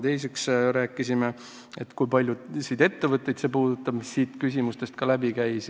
Teiseks rääkisime, et kui paljusid ettevõtteid see puudutab, mis ka siin küsimustest läbi käis.